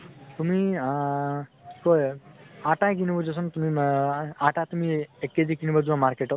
তুমি আ কি কয় আটা কিনিব যোৱাচোন তুমি মা, আটা তুমি এক KG কিনিব যোৱা market ত